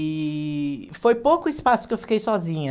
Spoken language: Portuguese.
E foi pouco espaço que eu fiquei sozinha.